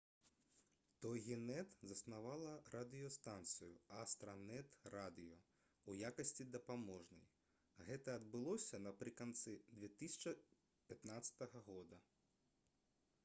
«тогінэт» заснавала радыёстанцыю «астранэт радыё» у якасці дапаможнай. гэта адбылося напрыканцы 2015 г